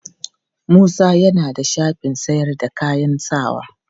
Musa ya na da shafin sayar da kayan sawa.